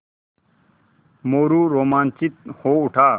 मोरू रोमांचित हो उठा